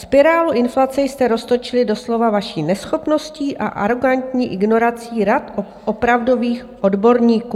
Spirálu inflace jste roztočili doslova vaší neschopností a arogantní ignorací rad opravdových odborníků.